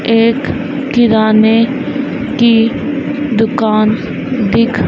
एक किराने की दुकान दिख--